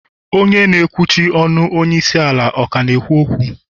Onye na ekwuchi ọnu onye isi ala ọ ka na-ekwu okwu?